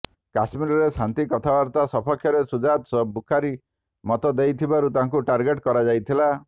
କାଶ୍ମୀରରେ ଶାନ୍ତି କଥାବାର୍ତ୍ତା ସପକ୍ଷରେ ସୁଜାତ ବୁଖାରି ମତ ଦେଉଥିବାରୁ ତାଙ୍କୁ ଟାର୍ଗେଟ କରାଯାଇଥିଲା